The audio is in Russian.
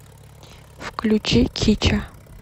включи кича